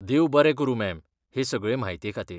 देव बरें करूं, मॅम, हें सगळे म्हायतेखातीर.